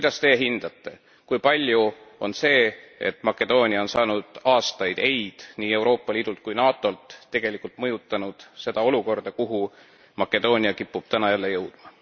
Kuidas Teie hindate, kui palju on see, et Makedoonia on saanud aastaid ei nii Euroopa Liidult kui NATOlt, tegelikult mõjutanud seda olukorda, kuhu Makedoonia kipub täna jälle jõudma?